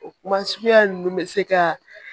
O kuma suguya ninnu bɛ se ka